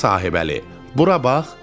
“Gədə Sahibəli, bura bax!” dedi.